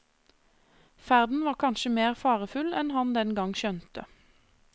Ferden var kanskje mer farefull enn han den gang skjønte.